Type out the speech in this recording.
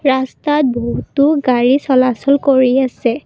ৰাস্তাত বহুতো গাড়ী চলাচল কৰি আছে।